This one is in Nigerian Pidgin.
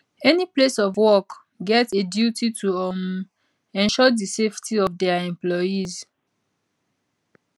any place of work get a duty to um ensure di safety of dia employees